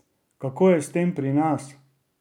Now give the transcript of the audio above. Kako je s tem pri nas?